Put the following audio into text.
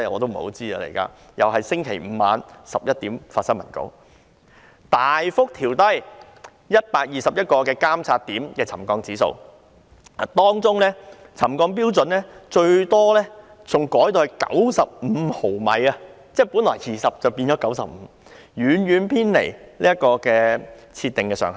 政府又是在星期五晚上11時才發出新聞稿，大幅調低121個監測點的沉降指標，當中，沉降標準最大幅度的更改達95毫米，是由20毫米更改為95毫米，遠遠偏離預設上限。